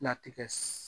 Latigɛ